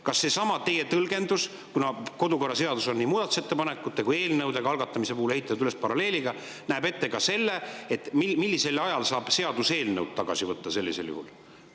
Kas seesama teie tõlgendus – kuna kodukorraseaduses on nii muudatusettepanekute kui ka eelnõude algatamise ehitatud üles paralleelselt – näeb ette ka selle, millisel ajal saab seaduseelnõu tagasi võtta sellisel juhul?